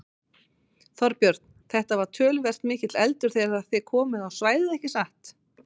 Þorbjörn: Þetta var töluvert mikill eldur þegar þið komuð á svæðið ekki satt?